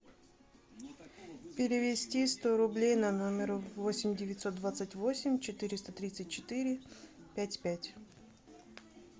перевести сто рублей на номер восемь девятьсот двадцать восемь четыреста тридцать четыре пять пять